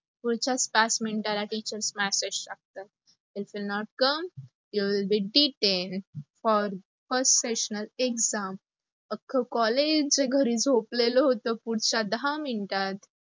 पुढच्याच पाच मिनिटाला teacher message टाकतात, if you not come, you will be detained for first seasonal exam. अक्खं collage घरी झोपेल होत पुढचा दहा मिनटात